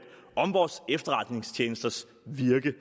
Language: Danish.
om vores efterretningstjenesters virke